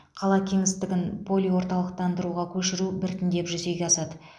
қала кеңістігін полиорталықтандыруға көшіру біртіндеп жүзеге асады